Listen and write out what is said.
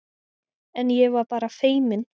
En ég var bara feiminn.